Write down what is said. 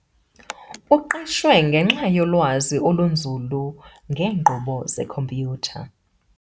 Uqeshwe ngenxa yolwazi olunzulu ngeenkqubo zekhompyutha.